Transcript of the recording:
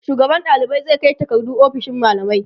shugaban ɗalibai zai Kai takardu ofishin mallamai